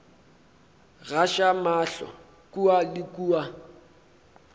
gaša mahlo kua le kua